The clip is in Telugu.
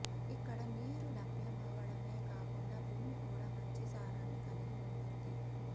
ఇక్కడ నీరు లభ్యమవడమే కాకుండా భూమి కూడా మంచి సారాన్ని కలిగి ఉంటుంది